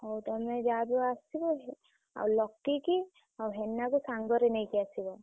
ହଉ ତମେ ଯାହା ବି ହଉ ଆସିବ ଆଉ ଲକି କି ଆଉ ହେନାକୁ ସାଙ୍ଗରେ ନେଇକି ଆସିବ।